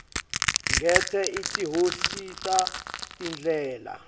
ngete atihocisa tindlela